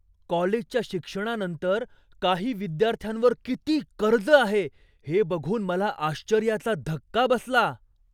कॉलेजच्या शिक्षणानंतर काही विद्यार्थ्यांवर किती कर्ज आहे हे बघून मला आश्चर्याचा धक्का बसला.